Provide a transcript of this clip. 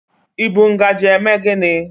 I bụ ngajị eme gini?